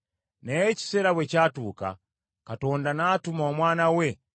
Naye ekiseera bwe kyatuuka, Katonda n’atuma Omwana we